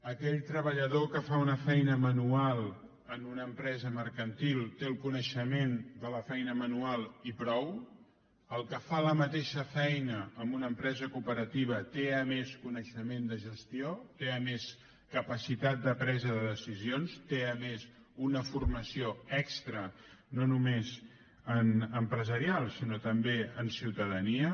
aquell treballador que fa una feina manual en una empresa mercantil té el coneixement de la feina manual i prou el que fa la mateixa feina en una empresa cooperativa té a més coneixement de gestió té a més capacitat de presa de decisions té a més una formació extra no només empresarial sinó també en ciutadania